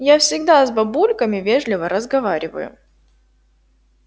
я всегда с бабульками вежливо разговариваю